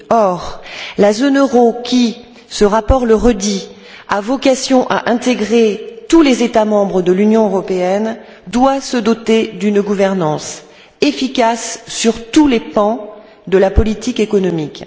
Or, la zone euro, qui ce rapport le redit a vocation à intégrer tous les États membres de l'Union européenne, doit se doter d'une gouvernance efficace sur tous les pans de la politique économique.